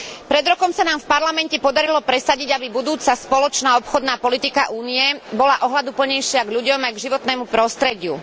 Pred rokom sa nám v Parlamente podarilo presadiť, aby budúca spoločná obchodná politika Únie bola ohľaduplnejšia k ľuďom, aj k životnému prostrediu.